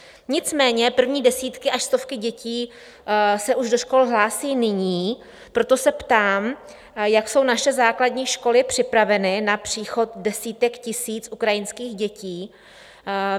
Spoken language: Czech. Nicméně první desítky až stovky dětí se už do škol hlásí nyní, proto se ptám, jak jsou naše základní školy připraveny na příchod desítek tisíc ukrajinských dětí.